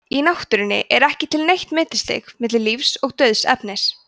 í náttúrunni er ekki til neitt millistig milli lífs og dauðs efnis